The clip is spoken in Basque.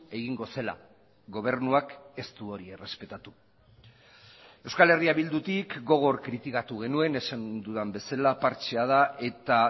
egingo zela gobernuak ez du hori errespetatu euskal herria bildutik gogor kritikatu genuen esan dudan bezala partxea da eta